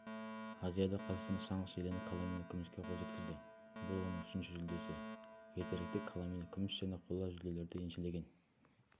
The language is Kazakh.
азиада қазақстандық шаңғышы елена коломина күміске қол жеткізді бұл оның үшінші жүлдесі ертеректе коломина күміс және қола жүлделерді еншілеген